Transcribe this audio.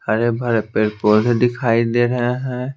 हरे भरे पेड पौधे दिखाई दे रहे है।